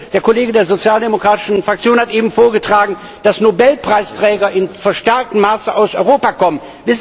Der Kollege der Sozialdemokratischen Fraktion hat eben vorgetragen, dass Nobelpreisträger in verstärktem Maße aus Europa kommen.